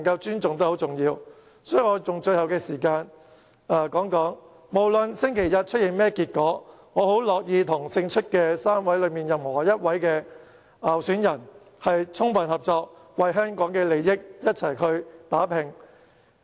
因此，我想用最後的發言時間表明，無論星期日出現甚麼結果，我很樂意與最後勝出的一位候選人充分合作，為香港的利益共同打拼。